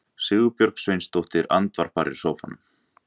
Sigurbjörg Sveinsdóttir andvarpar í sófanum.